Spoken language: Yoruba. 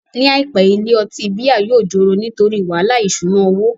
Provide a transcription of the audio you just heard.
Ní àìpé, ilé ọtí bíà yóò joro nítorí wàhálà ìṣúná owó